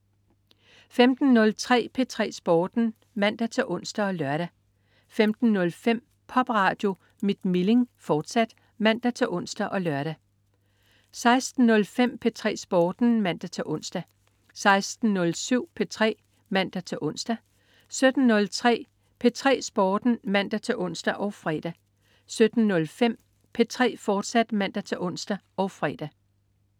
15.03 P3 Sporten (man-ons og lør) 15.05 Popradio mit Milling, fortsat (man-ons og lør) 16.05 P3 Sporten (man-ons) 16.07 P3 (man-ons) 17.03 P3 Sporten (man-ons og fre) 17.05 P3, fortsat (man-ons og fre)